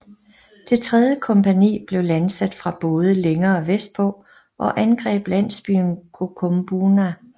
Det tredje kompagni blev landsat fra både længere vestpå og angreb landsbyen Kokumbuna